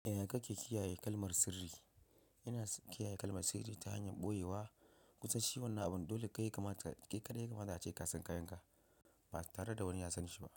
Eh, ka ke kiyaye kalmar sirri. Yana kiyaye kalmar sirri ta hanyar ɓoyewa kusa ci wannan abun. Dole kai ya kamata kai kaɗai ya kamata ace kasan kayan ka ba tare da wani ya san shi ba.